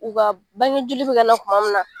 U ka bangejoli bi ka na kuma min na.